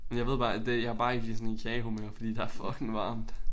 Men jeg ved bare at det jeg bare ikke lige sådan i kagehumør fordi der fucking varmt